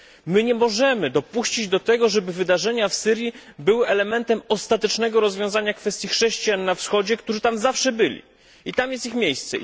My nie możemy dopuścić do tego, żeby wydarzenia w Syrii były elementem ostatecznego rozwiązania kwestii chrześcijan na Wschodzie, którzy tam zawsze byli i tam jest ich miejsce.